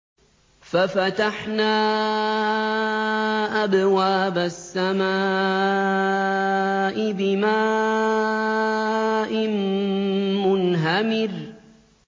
فَفَتَحْنَا أَبْوَابَ السَّمَاءِ بِمَاءٍ مُّنْهَمِرٍ